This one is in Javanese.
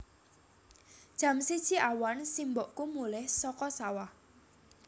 Jam siji awan simbokku mulih saka sawah